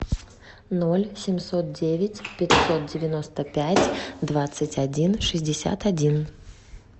ноль семьсот девять пятьсот девяносто пять двадцать один шестьдесят один